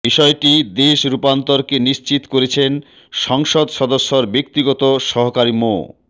বিষয়টি দেশ রূপান্তরকে নিশ্চিত করেছেন সংসদ সদস্যর ব্যক্তিগত সহকারী মো